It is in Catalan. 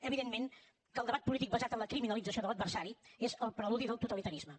evidentment que el debat polític basat en la criminalització de l’adversari és el preludi del totalitarisme